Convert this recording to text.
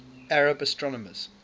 arab astronomers